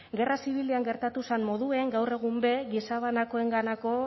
gerra zibilean gertatu zan moduen gaur egun be gizabanakoenganako